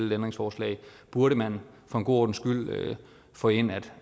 et ændringsforslag burde man for en god ordens skyld få ind at